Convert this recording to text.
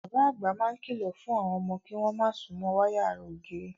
Bàbá àgbà máa ń kìlọ̀ fún àwọn ọmọ kí wọ́n má súnmọ́ wáyà ara ògiri.